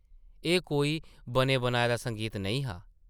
एह् कोई बने-बनाए दा संगीत नेईं हा ।